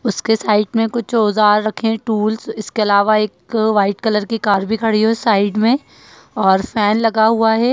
उसके साइट में कुछ औजार रखे हैं टूल्स । इसके अलावा एक व्हाइट कलर की कार भी खड़ी है साइड में और फैन लगा हुआ है।